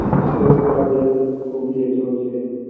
আমারও কাজের খুব ইয়ে চলছে